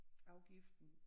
Afgiften